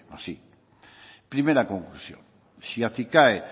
más i primera conclusión si acicae